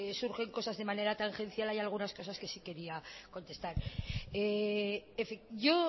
surgen cosas de manera tangencial hay algunas cosas que sí quería contestar yo